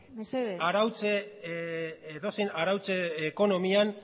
mesedez edozein arautze ekonomian